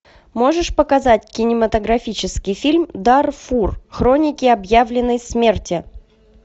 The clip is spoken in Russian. можешь показать кинематографический фильм дарфур хроники объявленной смерти